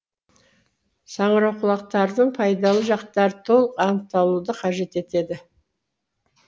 саңырауқұлақтардың пайдалы жақтары толық анықтауды қажет етеді